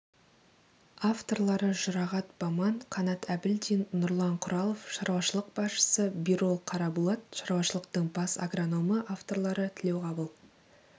авторлары жұрағат баман қанат әбілдин нұрлан құралов шаруашылық басшысы бирол қарабулат шаруашылықтың бас агрономы авторлары тілеуқабыл